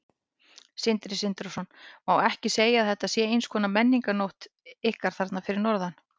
Sindri Sindrason: Má ekki segja að þetta sé eins konar menningarnótt ykkar þarna fyrir norðan?